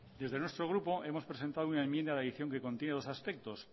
desde nuestro grupo hemos presentado una enmienda de adicción que contiene dos aspectos